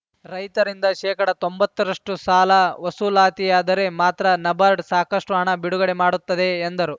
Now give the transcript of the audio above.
ರೈತರಿಂದ ಶೇಕಡ ತೊಂಬತ್ತರಷ್ಟುಸಾಲ ವಸೂಲಾತಿಯಾದರೆ ಮಾತ್ರ ನಬಾರ್ಡ್‌ ಸಾಕಷ್ಟುಹಣ ಬಿಡುಗಡೆ ಮಾಡುತ್ತದೆ ಎಂದರು